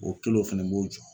O kelen o fɛnɛ n b'o jɔ.